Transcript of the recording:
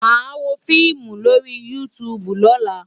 Màá wo fíìmù lórí YouTube lọ́la.